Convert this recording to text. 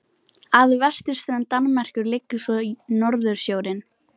Að vesturströnd Danmerkur liggur svo Norðursjórinn.